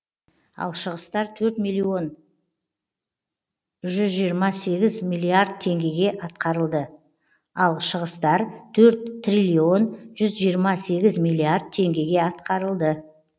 ал шығыстар төрт триллион жүз жиырма сегіз миллиард теңгеге атқарылды